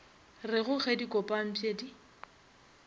rego ge di kopantpwe di